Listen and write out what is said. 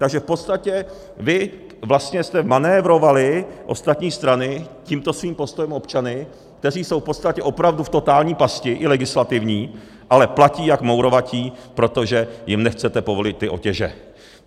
Takže v podstatě vy vlastně jste manévrovali, ostatní strany, tímto svým postojem občany, kteří jsou v podstatě opravdu v totální pasti, i legislativní, ale platí jak mourovatí, protože jim nechcete povolit ty otěže.